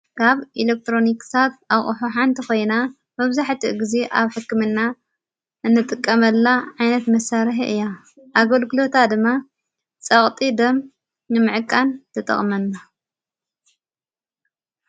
ካብ ኢለክትሮኒክሳት ኣቕሕ ሓንቲ ኾይና መብዙሕት ጊዜ ኣብ ሕክምና እንጥቀመላ ዓይነት መሣርሕ እያ ኣገልግሎታ ድማ ጸቕጢ ደም ምዕቃን ተጠቕመና::